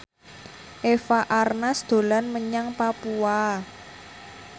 Eva Arnaz dolan menyang Papua